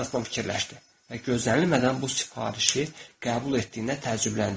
Heltton fikirləşdi və gözlənilmədən bu sifarişi qəbul etdiyinə təəccübləndi.